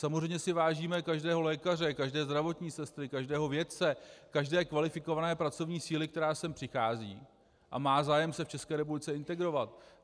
Samozřejmě si vážíme každého lékaře, každé zdravotní sestry, každého vědce, každé kvalifikované pracovní síly, která sem přichází a má zájem se v České republice integrovat.